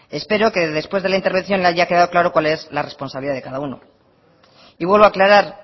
espero que después de la intervención le haya quedado claro cuál es la responsabilidad de cada uno y vuelvo a aclarar